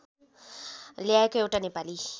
ल्याएको एउटा नेपाली